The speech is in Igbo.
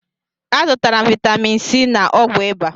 Azụtara m vitamin c na ọgwụ ịba